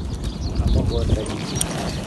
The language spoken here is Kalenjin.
Aama kondanyu.